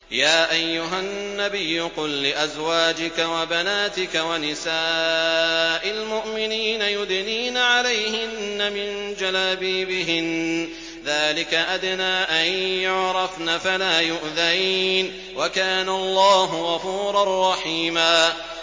يَا أَيُّهَا النَّبِيُّ قُل لِّأَزْوَاجِكَ وَبَنَاتِكَ وَنِسَاءِ الْمُؤْمِنِينَ يُدْنِينَ عَلَيْهِنَّ مِن جَلَابِيبِهِنَّ ۚ ذَٰلِكَ أَدْنَىٰ أَن يُعْرَفْنَ فَلَا يُؤْذَيْنَ ۗ وَكَانَ اللَّهُ غَفُورًا رَّحِيمًا